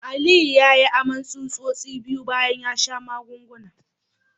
Aliyu yayi aman tsutsosi biyu bayan ya sha magungunan